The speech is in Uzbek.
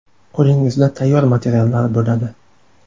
Qo‘lingizda tayyor materiallar bo‘ladi.